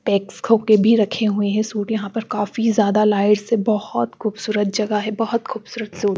PACS होके भी रखे हुए हैं सूट यहां पर काफी ज्यादा लाइट्स हैं बहोत खूबसूरत जगह है बहोत खूबसूरत सो--